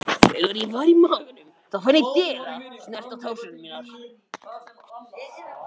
Hann veit sem er.